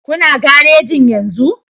Kuna garejin yenzu